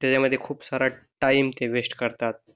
त्याच्यामध्ये खूप सारा टाइम ते वेस्ट करतात